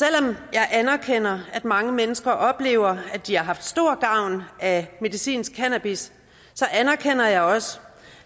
jeg anerkender at mange mennesker oplever at de har haft stor gavn af medicinsk cannabis så anerkender jeg også